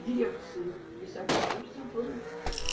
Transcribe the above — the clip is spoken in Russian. дирекции исаакиевского собора